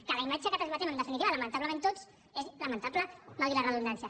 que la imatge que transmetem en definitiva lamentablement tots és lamentable valgui la redundància